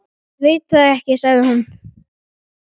Ég veit það ekki sagði hún.